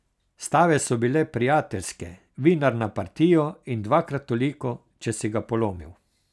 Stave so bile prijateljske, vinar na partijo in dvakrat toliko, če si ga polomil.